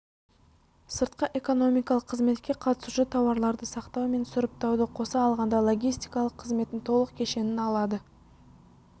сыртқы экономикалық қызметке қатысушы тауарларды сақтау мен сұрыптауды қоса алғанда логистикалық қызметтің толық кешенін алады